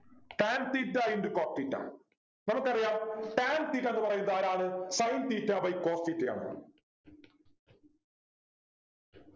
Tan theta into cos theta നമുക്കറിയാം tan theta ന്നു പറയുന്നതാരാണ് Sin theta by cos theta യാണ്